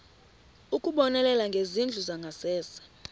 ukubonelela ngezindlu zangasese